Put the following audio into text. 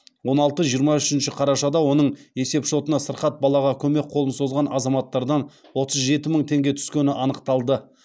он алты жиырма үшінші қарашада оның есепшотына сырқат балаға көмек қолын созған азаматтардан отыз жеті мың теңге түскені анықталды